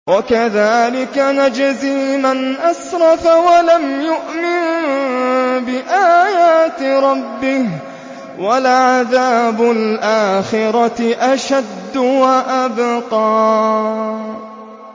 وَكَذَٰلِكَ نَجْزِي مَنْ أَسْرَفَ وَلَمْ يُؤْمِن بِآيَاتِ رَبِّهِ ۚ وَلَعَذَابُ الْآخِرَةِ أَشَدُّ وَأَبْقَىٰ